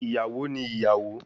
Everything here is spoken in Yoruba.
Iyawo ni iyawo